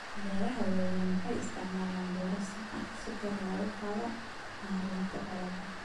Beeraha waaweyni waxay isticmaalaan beero sax ah si kor loogu qaado maaraynta dalagga.